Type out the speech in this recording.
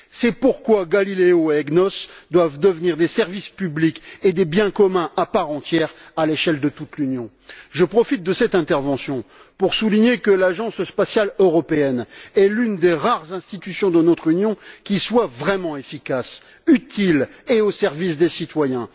C'est pourquoi Galileo et EGNOS doivent devenir des services publics et des biens communs à part entière à l'échelle de toute l'Union. Je profite de cette intervention pour souligner que l'Agence spatiale européenne est l'une des rares institutions de notre Union qui soit vraiment efficace, utile et au service des citoyens.